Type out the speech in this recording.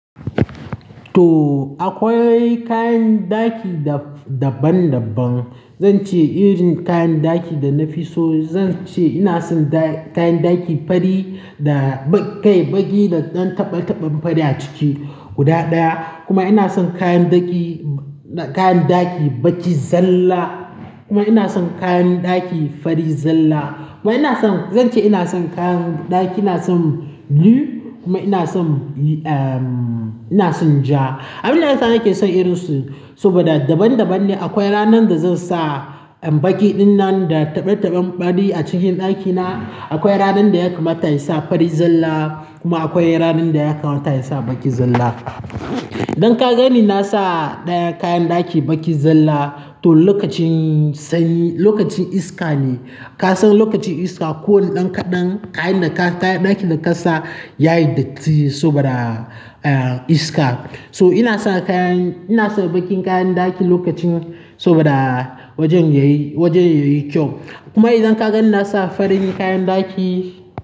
To akwai kayan ɗaki da daban-daban. Zan ce irin kayan ɗaki da na fi so, zan ce ina son da kayan ɗaki fari da ba kai baki da ɗan taɓe-taɓen fari a ciki guda ɗaya. Kuma ina son kayan ɗaki, kayan ɗaki baki zalla. Kuma ina son kayan ɗaki fari zalla. Kuma ina son, zan ce ina son kayan ɗaki, ina son blue kuma ina son, ehm, ina son ja. Abinda yasa nake son irin su saboda daban-daban ne. Akwai ranan da zan sa baki dinnan da taɓe-taɓen fari a cikin ɗakina. Akwai ranan da ya kamata in sa fari zalla kuma akwai ranan da ya kamata in sa baki zalla. Idan ka gani na sa ɗayan kayan ɗaki baki zalla to lokacin sanyi, lokacin iska ne. Ka san lokacin iska kowane kaɗan kayan da ka, kayan ɗaki da ka sa yayi datti saboda, ah, iska. So ina sa kayan, ina saka bakin kayan ɗaki lokacin saboda wajen yayi, wajen yayi kyau. Kuma idan ka gani na sa farin kayan ɗaki.